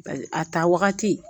A ta wagati